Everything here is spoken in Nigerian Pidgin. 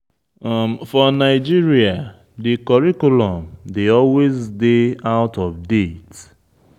For Nigeria, di curriculum dey always dey out of date